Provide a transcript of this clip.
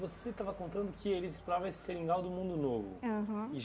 Você estava contando que eles exploravam esse seringal do mundo novo. Aham.